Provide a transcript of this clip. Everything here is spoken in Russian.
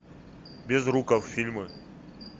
безруков фильмы